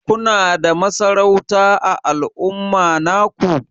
Kuna da masarauta ã al'umma naku?